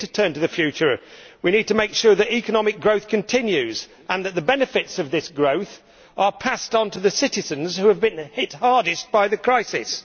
We need to turn to the future. We need to make sure that economic growth continues and that the benefits of this growth are passed on to the citizens who have been hit the hardest by the crisis.